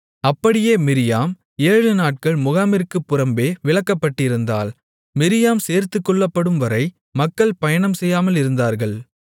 அப்படியே மிரியாம் ஏழு நாட்கள் முகாமிற்குப் புறம்பே விலக்கப்பட்டிருந்தாள் மிரியாம் சேர்த்துக்கொள்ளப்படும்வரை மக்கள் பயணம் செய்யாமலிருந்தார்கள்